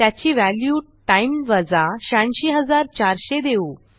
त्याची value time वजा 86400 देऊ